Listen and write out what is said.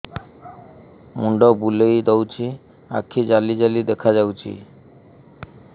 ମୁଣ୍ଡ ବୁଲେଇ ଦଉଚି ଆଖି ଜାଲି ଜାଲି ଦେଖା ଯାଉଚି